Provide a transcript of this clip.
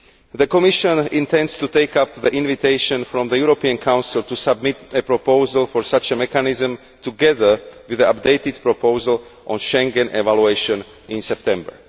The Commission intends to take up the invitation from the European Council to submit a proposal for such a mechanism together with the updated proposal on the Schengen evaluation in September.